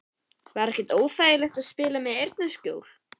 Var ekkert óþægilegt að spila með eyrnaskjól??